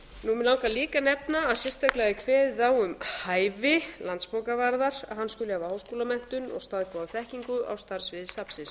langar líka að nefna að sérstaklega er kveðið á um hæfi landsbókavarðar að hann skuli hafa háskólamenntun og staðgóða þekkingu á starfssviði safnsins